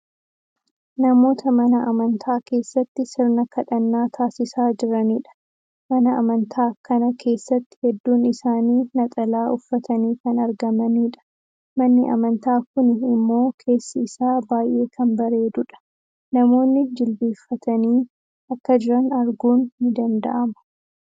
Namoota mana amantaa keessatti sirna kadhannaa taasisaa jiraniidha. Mana amantaa kana keessatti hedduun isaanii naxalaa uffatanii kan argamaniidha. Manni amantaa kuni immoo keessi isaa baay'ee kan bareedudha. Namoonni jilbiinfatanii akka jiran arguun ni danda'ama.